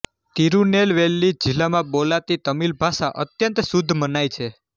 તિરુનેલવેલી જિલ્લામાં બોલાતી તમિલ ભાષા અત્યંત શુદ્ધ મનાય છે